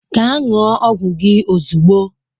Gaa nnúo ọgwụ gị ozugbo!